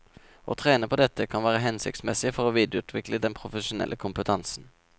Å trene på dette kan være hensiktsmessig for å videreutvikle den profesjonelle kompetansen.